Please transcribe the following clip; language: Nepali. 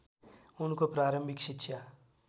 उनको प्रारम्भिक शिक्षा